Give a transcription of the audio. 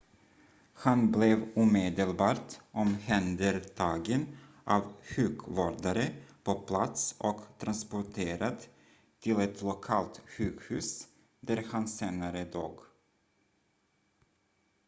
han blev omedelbart omhändertagen av sjukvårdare på plats och transporterad till ett lokalt sjukhus där han senare dog